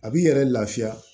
A b'i yɛrɛ lafiya